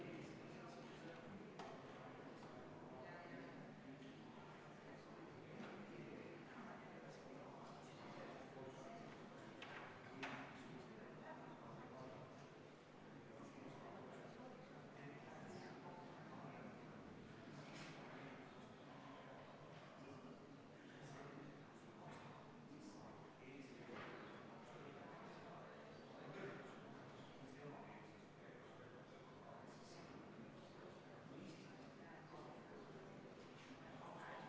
V a h e a e g